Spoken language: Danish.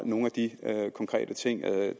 nogle af de konkrete ting har jeg